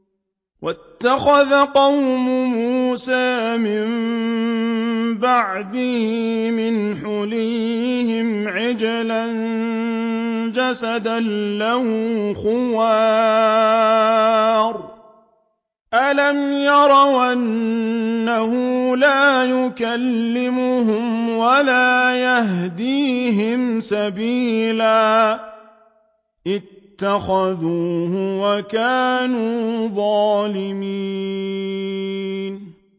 وَاتَّخَذَ قَوْمُ مُوسَىٰ مِن بَعْدِهِ مِنْ حُلِيِّهِمْ عِجْلًا جَسَدًا لَّهُ خُوَارٌ ۚ أَلَمْ يَرَوْا أَنَّهُ لَا يُكَلِّمُهُمْ وَلَا يَهْدِيهِمْ سَبِيلًا ۘ اتَّخَذُوهُ وَكَانُوا ظَالِمِينَ